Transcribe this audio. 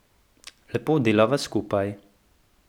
Lepo delava skupaj.